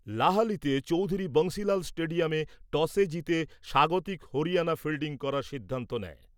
লাহালিতে চৌধুরি বংশীলাল স্টেডিয়ামে টসে জিতে স্বাগতিক হরিয়ানা ফিল্ডিং করার সিদ্ধান্ত নেয় ।